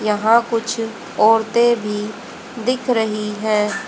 यहां कुछ औरतें भी दिख रही हैं।